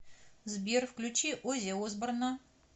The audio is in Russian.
сбер включи ози осборна